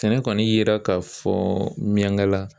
Sɛnɛ kɔni yera ka fɔ ɲɛnkala